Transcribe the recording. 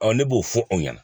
ne b'o fɔ o ɲɛna